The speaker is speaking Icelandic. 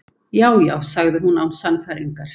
Já, já- sagði hún án sannfæringar.